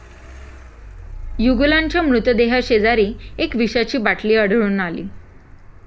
युगलांच्या मृतदेहाशेजारी एक विषाची बाटली आढळून आली.